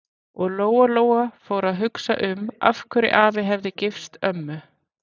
Og Lóa-Lóa fór að hugsa um af hverju afi hefði gifst ömmu.